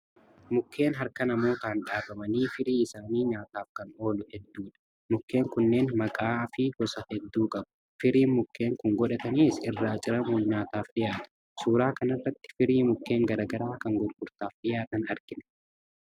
Mukeen harka namootaan dhaabanii firii isaanii nyaataaf kan oolu hedduudha. Mukeen kunneen maqaa fi gosa hedduu qabu. Firiin mukeen kun godhatanis irraa ciramuun nyaataaf dhiyaatu. Suuraa kanarratti firii mukeen gara garaa kan gurgurtaaf dhiyaatan argina.